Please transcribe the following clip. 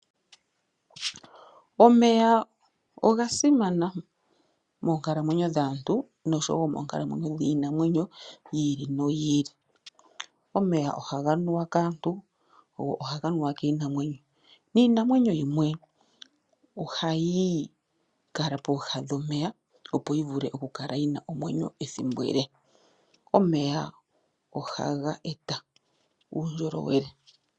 Omeya oga simana monkalamwenyo dhaantu oshowo moonkalamwenyo dhiinamwenyo yi ili noyi ili omeya ohaga nuwa kaantu go ohaga nuwa kinamwenyo niinamwenyo yimwe ohayi kala pooha dhomeya opo yi vule okukala yina omwenyo ethimbo ele omeya ohaga eta uundjolowele.